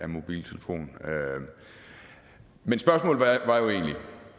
mobiltelefon men spørgsmålet var jo egentlig